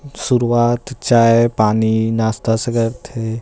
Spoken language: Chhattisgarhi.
शुरुवात चाय पानी नास्ता से करथे।